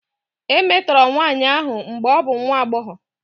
E metọrọ nwanyị ahụ mgbe ọ bụ nwa agbọghọ.